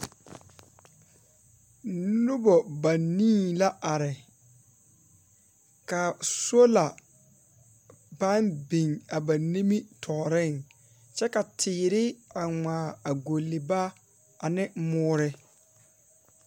Nobɔ banii la are, ka sola pãã biŋ a ba nimitɔɔreŋ, kyɛ ka teere a ŋmaa a golli baa ne moore.